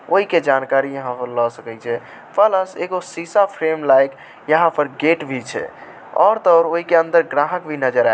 ओय के जानकारी यहाँ से ल सकय छै शीशा फ्रेम लाइट एक गेट भी छै और तो और उसके अंदर ग्राहक भी नजर आ -- सकय छै।